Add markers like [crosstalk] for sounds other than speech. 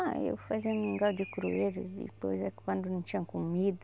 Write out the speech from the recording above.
Ah, eu fazia mingau de [unintelligible] e coisa, quando não tinha comida.